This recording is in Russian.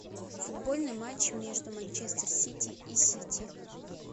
футбольный матч между манчестер сити и сити